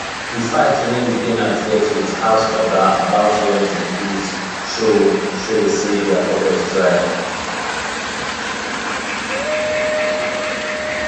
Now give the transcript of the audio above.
the fight wey the ten ant get with house oga about rent increase show show say their pocket dry